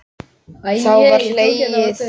Þá var hlegið.